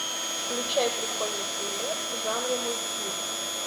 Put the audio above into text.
включай прикольный фильмец в жанре мультфильм